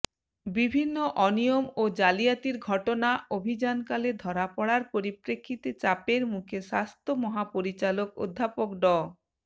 বিভিন্ন অনিয়ম ও জালিয়াতির ঘটনা অভিযানকালে ধরা পড়ার পরিপ্রেক্ষিতে চাপের মুখে স্বাস্থ্য মহাপরিচালক অধ্যাপক ড